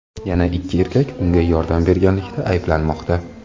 Yana ikki erkak unga yordam berganlikda ayblanmoqda.